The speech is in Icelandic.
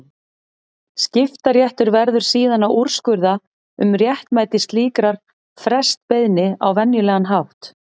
Skiptaréttur verður síðan að úrskurða um réttmæti slíkrar frestbeiðni á venjulegan hátt.